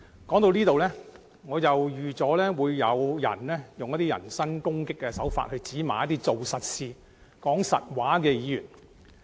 說到這裏，我預計有人會用人身攻擊的手法指罵做實事、說實話的議員。